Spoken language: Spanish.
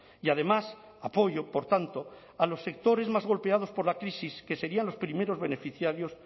y además apoyo por tanto a los sectores más golpeados por la crisis que serían los primeros beneficiarios